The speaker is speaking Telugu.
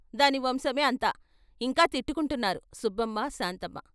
"దాని వంశమే అంత" ఇంకా తిట్టుకుంటున్నారు సుబ్బమ్మ, శాంతమ్మ.